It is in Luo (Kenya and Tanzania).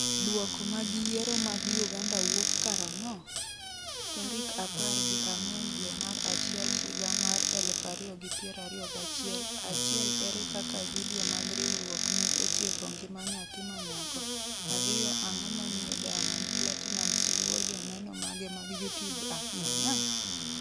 Duoko mag Yiero mag Uganda wuok karang'o? tarik 14 dwe mar achiel higa mar 2021 1 Ere kaka vidio mag riwruok ne otieko ngima nyathi ma nyako 2 Ang'o momiyo Diamond Platinumz luwo joneno mage mag YouTube ahinya?